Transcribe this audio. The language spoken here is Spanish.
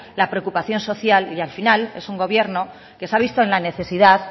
la preocupación social y al final es un gobierno que se ha visto en la necesidad